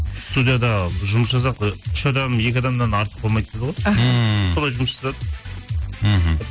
студияда жұмыс жасадық ы үш адам екі адамнан артық болмайды дейді ғой аха ммм солай жұмыс жасадық мхм